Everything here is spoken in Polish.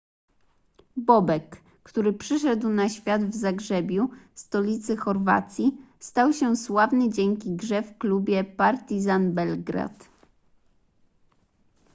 bobek który przyszedł na świat w zagrzebiu stolicy chorwacji stał się sławny dzięki grze w klubie partizan belgrad